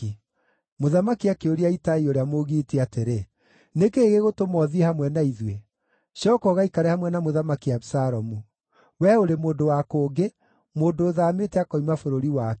Mũthamaki akĩũria Itai ũrĩa Mũgiiti atĩrĩ, “Nĩ kĩĩ gĩgũtũma ũthiĩ hamwe na ithuĩ? Cooka ũgaikare hamwe na Mũthamaki Abisalomu. Wee ũrĩ mũndũ wa kũngĩ, mũndũ ũthaamĩte akoima bũrũri wake.